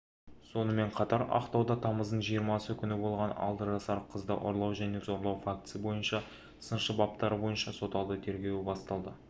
сонымен қатар ақтауда тамыздың жиырмасы күні болған алты жасар қызды ұрлау және зорлау фактісі бойынша сыншы баптары бойынша соталды тергеу басталды